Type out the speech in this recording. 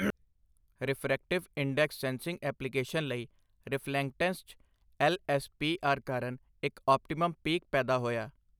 Refractive index sensing application ਲਈ reflectance 'ਚ LSPR ਕਾਰਨ ਇੱਕ ਆਪਟੀਮਮ ਪੀਕ ਪੈਦਾ ਹੋਇਆ।